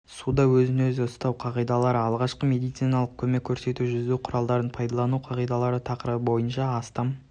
суда өзін-өзі ұстау қағидалары алғашқы медициналық көмек көрсету жүзу құралдарын пайдалану қағидалары тақырыбы бойынша астам